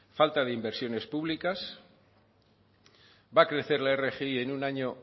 falta de inversiones públicas va a crecer la rgi en un año